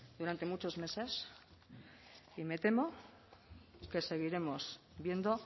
durante muchos meses y me temo que seguiremos viendo